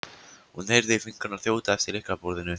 hún heyrði fingurna þjóta eftir lyklaborðinu.